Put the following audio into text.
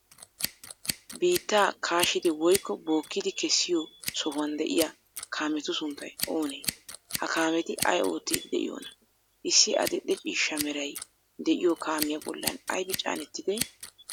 Biittaa kaashidi woykko bookkidi kessiyo sohuwan de'iya kaametu sunttay oonee? Ha kaameeti ay oottiiddi de'iyoonaa? Issi adil''e ciishsha meray de'iyoo kaamiya bollan aybi caanettidee?